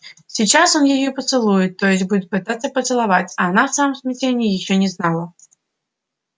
сейчас он её поцелует то есть будет пытаться поцеловать а она в своём смятении ещё не знала